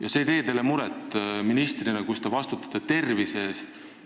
Kas see ei tee teile muret ministrina, kes te vastutate tervise eest?